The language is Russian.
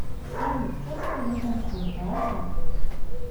салют че такой задумчивый то а брат